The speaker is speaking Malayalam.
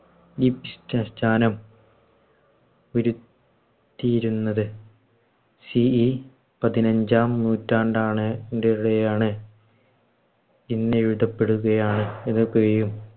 വരു ത്തിയിരുന്നത്. പതിനഞ്ചാം നൂറ്റാണ്ടാണ് ഇന്നിവിടെ പെടുകയാണ്.